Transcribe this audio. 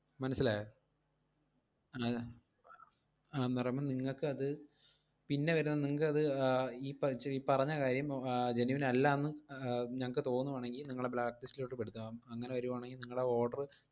മനസ്സിലായോ ആഹ് ആഹ് പറയുമ്പോ നിങ്ങക്ക് അത് പിന്നെ വരുമ്പോ നിങ്ങക്ക് അത് ആഹ് ഈ പ~ ചെയ്~ പറഞ്ഞകാര്യം മ്~ ആഹ് genuine അല്ലാന്ന് അഹ് ഞങ്ങക്ക് തോന്നുവാണെങ്കി നിങ്ങളെ blacklist ലോട്ട് പെടുത്തും. അങ്ങനെ വരുവാണേൽ നിങ്ങള order